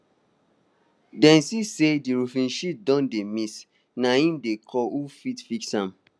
dem see say di roofing sheets don dey miss na im dey call who fit fix am